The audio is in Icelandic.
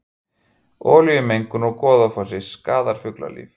Olíumengun úr Goðafossi skaðar fuglalíf